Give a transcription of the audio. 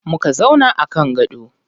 Muka zauna a kan gado.